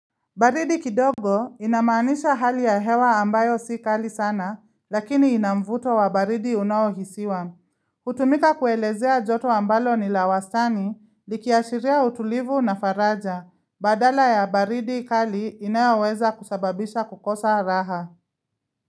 Baridi kidogo inamanisha hali ya hewa ambayo si kali sana lakini inamvuto wa baridi unawohisiwa. Hutumika kuelezea joto ambalo ni la wastani likiashiria utulivu na faraja. Badala ya baridi kali inaweza kusababisha kukosa raha.